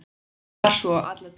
Var svo alla tíð.